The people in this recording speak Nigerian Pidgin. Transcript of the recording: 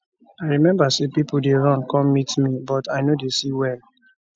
i remember say pipo dey run come meet me but i no dey see well